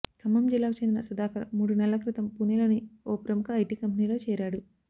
ఖమ్మం జిల్లాకు చెందిన సుధాకర్ మూడు నెలల క్రితం పూణేలోని ఓ ప్రముఖ ఐటి కంపెనీలో చేరాడు